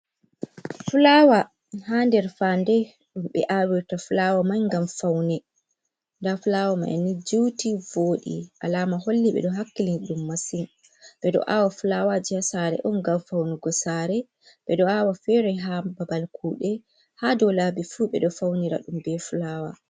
"Fulaawa" ha nder faande ɗum ɓe awirta fulawa mai ngam faune nda fulaawa mai ni juuti voɗi alama holli ɓeɗo hakkilini ɗum maasin ɓeɗo awa fulawaji ha sare on ngam faunugo sare, ɓeɗo awa fere ha babal kuɗe, haa dow laabi fu ɓeɗo faunira ɗum be fulawa.